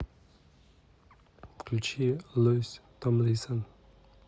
включи луис томлинсон